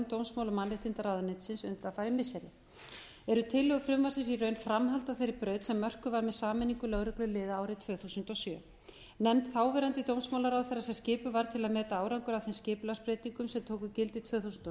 dómsmála og mannréttindaráðuneytis undanfarin missiri eru tillögur frumvarpsins í raun framhald af þeirri braut sem mörkuð var með sameiningu lögregluliða árið tvö þúsund og sjö nefnd þáverandi dómsmálaráðherra sem skipuð var til að meta árangur af þeim skipulagsbreytingum sem tóku gildi tvö þúsund og